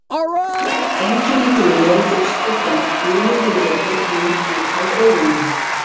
Einkenni gulu eru fyrst og fremst gulur húðlitur og gul hvíta í augunum.